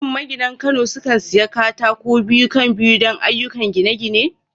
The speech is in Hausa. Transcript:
Shin maginan Kano sukan sayi katako biyu-kan-biyu don ayyukan gine-gine?